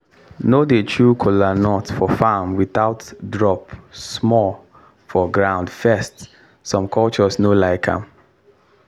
no dey chew kola for farm without drop small for ground first some cultures no like am.